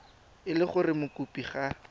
e le gore mokopi ga